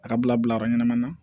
A ka bila bila yɔrɔ ɲɛnama na